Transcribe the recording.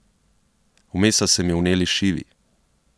Vmes so se mi vneli šivi.